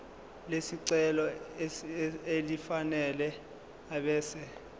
lesicelo elifanele ebese